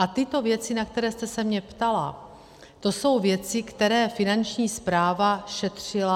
A tyto věci, na které jste se mě ptala, to jsou věci, které Finanční správa šetřila.